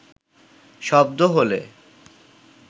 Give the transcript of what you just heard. শব্দ হলে